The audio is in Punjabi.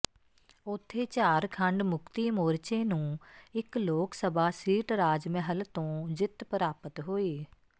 ਉਥੇ ਝਾਰਖੰਡ ਮੁਕਤੀ ਮੋਰਚੇ ਨੂੰ ਇਕ ਲੋਕ ਸਭਾ ਸੀਟ ਰਾਜ ਮਹਲ ਤੋਂ ਜਿੱਤ ਪ੍ਰਾਪਤ ਹੋਈ